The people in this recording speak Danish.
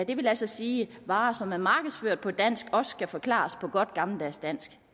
vil altså sige at varer som er markedsført på dansk også skal forklares på godt gammeldags dansk